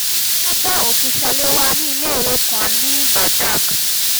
wọ́n bá òkú u salewa lẹ́yìn iléèwé kan ní badág